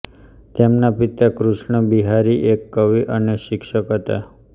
તેમના પિતા કૃષ્ણ બિહારી એક કવિ અને શિક્ષક હતા